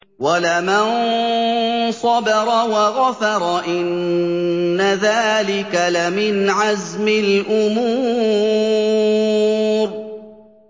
وَلَمَن صَبَرَ وَغَفَرَ إِنَّ ذَٰلِكَ لَمِنْ عَزْمِ الْأُمُورِ